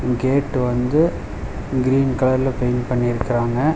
Gate வந்து green கலர்ல paint பண்ணியிருக்குறாங்க.